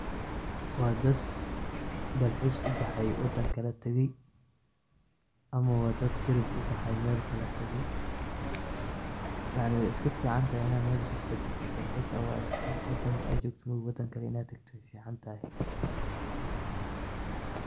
Wa dad dalxis ubaxay wadan kale tagay ama wa dad trip ubaxay oo meelkale tagey yacni wey iskaficantahay in ad meel kista tagtid dalxiis ad uado wadanka ad jogto wadan klae in ad tagto wey ficantahay.